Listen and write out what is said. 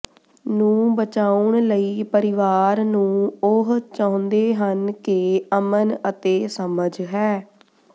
ਨੂੰ ਬਚਾਉਣ ਲਈ ਪਰਿਵਾਰ ਨੂੰ ਉਹ ਚਾਹੁੰਦੇ ਹਨ ਕਿ ਅਮਨ ਅਤੇ ਸਮਝ ਹੈ